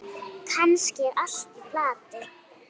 Kannski er allt í plati.